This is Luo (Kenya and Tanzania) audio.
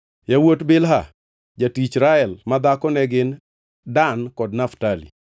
Yawuot Bilha, jatich Rael madhako ne gin: Dan kod Naftali.